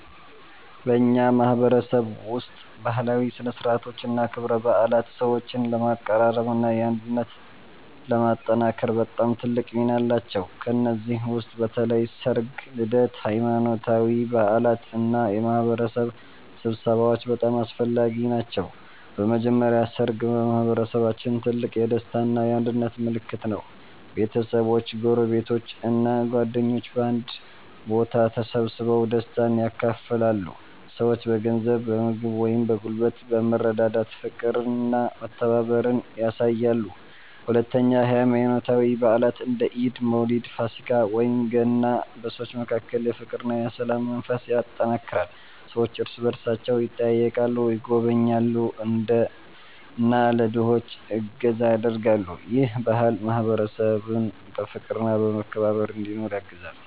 በእኛ ማህበረሰብ ውስጥ ባህላዊ ሥነ ሥርዓቶችና ክብረ በዓላት ሰዎችን ለማቀራረብና አንድነትን ለማጠናከር በጣም ትልቅ ሚና አላቸው። ከእነዚህ ውስጥ በተለይ ሠርግ፣ ልደት፣ ሃይማኖታዊ በዓላት እና የማህበረሰብ ስብሰባዎች በጣም አስፈላጊ ናቸው። በመጀመሪያ ሠርግ በማህበረሰባችን ትልቅ የደስታ እና የአንድነት ምልክት ነው። ቤተሰቦች፣ ጎረቤቶች እና ጓደኞች በአንድ ቦታ ተሰብስበው ደስታን ያካፍላሉ። ሰዎች በገንዘብ፣ በምግብ ወይም በጉልበት በመረዳዳት ፍቅርና መተባበርን ያሳያሉ። ሁለተኛ ሃይማኖታዊ በዓላት እንደ ኢድ፣ መውሊድ፣ ፋሲካ ወይም ገና በሰዎች መካከል የፍቅርና የሰላም መንፈስ ያጠናክራሉ። ሰዎች እርስ በእርሳቸው ይጠያየቃሉ፣ ይጎበኛሉ እና ለድሆች እገዛ ያደርጋሉ። ይህ ባህል ማህበረሰቡን በፍቅርና በመከባበር እንዲኖር ያግዛል።